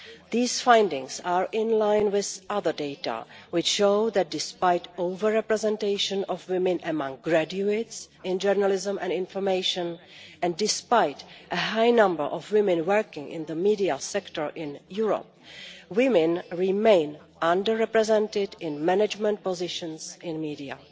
These findings are in line with other data which show that, despite over representation of women among graduates in journalism and information, and despite a high number of women working in the media sector in Europe, women remain under represented in management positions in media.